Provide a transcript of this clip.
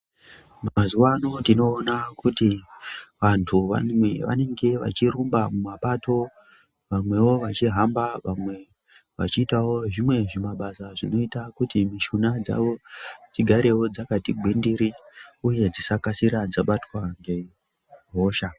Mazuva ano tino ona kuti vantu vanenge vachi rumba mu mapato vamwewo vachi hamba vamwe vachi itawo zvimwe zvi mabasa zvino ita kuti mishuna dzawo dzi garewo dzakati gwindiri uye dzisa kasira dza batwa nge hosha.